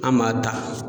An m'a da